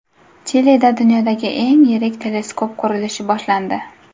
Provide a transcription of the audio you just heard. Chilida dunyodagi eng yirik teleskop qurilishi boshlandi.